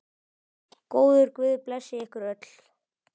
Góður guð blessi ykkur öll.